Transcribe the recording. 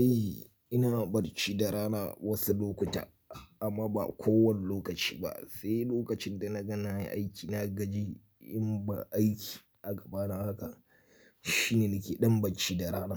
Eh, ina bacci da rana wasu lokuta amma ba kowane lokaci ba, sai lokacin da na ga na yi aiki. Na gaji, in ba aiki a gabana haka shine ni ke ɗan bacci da rana.